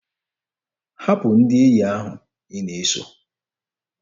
Hapụ ndị enyi ahụ ị na-eso!